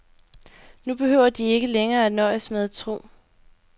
Nu behøver de ikke længere at nøjes med at tro.